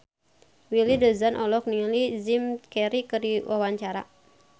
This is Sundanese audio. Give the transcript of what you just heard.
Willy Dozan olohok ningali Jim Carey keur diwawancara